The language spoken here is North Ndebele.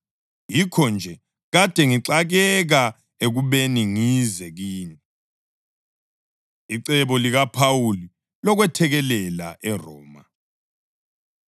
Yikho-nje kade ngixakeka ekubeni ngize kini. Icebo LikaPhawuli Lokwethekelela ERoma